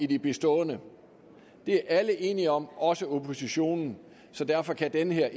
de bestående det er alle enige om også oppositionen derfor kan den her